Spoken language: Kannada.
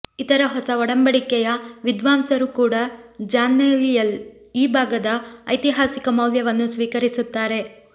ಇತರ ಹೊಸ ಒಡಂಬಡಿಕೆಯ ವಿದ್ವಾಂಸರೂ ಕೂಡ ಜಾನ್ನಲ್ಲಿಯ ಈ ಭಾಗದ ಐತಿಹಾಸಿಕ ಮೌಲ್ಯವನ್ನು ಸ್ವೀಕರಿಸುತ್ತಾರೆ